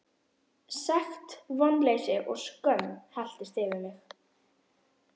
Sekt, vonleysi og skömm helltist yfir mig.